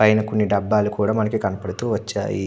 పైన కొన్ని డబ్బాలు కూడా మనకి కనబడుతూ వచ్చాయి.